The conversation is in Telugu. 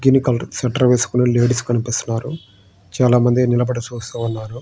గ్రీన్ కలర్ స్వేటర్ వేసుకునే లేడీస్ కనిపిస్తూ ఉన్నారు. చాలామంది నిలబడి చూస్తూ ఉన్నారు.